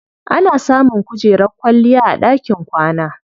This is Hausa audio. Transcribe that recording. Ana samun kujerar kwalliya a ɗakin kwana.